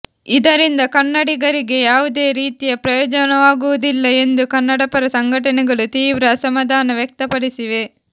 ಇದರಿಂದ ಕನ್ನಡಿಗರಿಗೆ ಯಾವುದೇ ರೀತಿಯ ಪ್ರಯೋಜನವಾಗುವುದಿಲ್ಲ ಎಂದು ಕನ್ನಡಪರ ಸಂಘಟನೆಗಳು ತೀವ್ರ ಅಸಮಾಧಾನ ವ್ಯಕ್ತಪಡಿಸಿವೆ